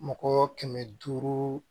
Mɔgɔ kɛmɛ duuru